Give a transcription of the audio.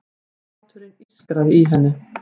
Hláturinn ískraði í henni.